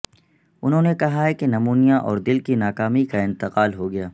انہوں نے کہا کہ نمونیا اور دل کی ناکامی کا انتقال ہو گیا